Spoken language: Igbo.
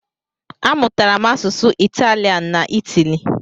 A mụtara m asụsụ Italian n'Itali.